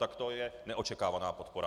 Tak to je neočekávaná podpora!